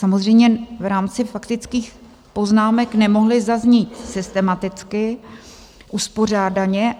Samozřejmě v rámci faktických poznámek nemohly zaznít systematicky, uspořádaně.